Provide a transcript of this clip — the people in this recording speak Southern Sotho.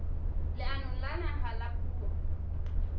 leanong la naha la puo